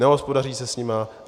Nehospodaří se s nimi.